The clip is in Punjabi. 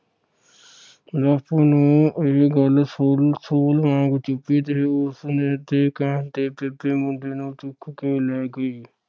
ਬਾਪੂ ਨੂੰ ਇਹ ਗੱਲ ਸੂਲ ਸੂਲ ਵਾਂਗ ਚੁਬੀ ਤੇ ਉਸਨੇ ਤੇ ਕਹਿਣ ਤੇ ਬੀਬੀ ਮੁੰਡੇ ਨੂੰ ਚੁੱਕ ਕੇ ਲੈ ਗਈ।